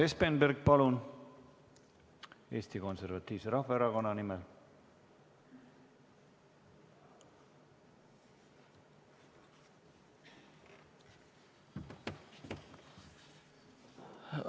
Urmas Espenberg Eesti Konservatiivse Rahvaerakonna nimel, palun!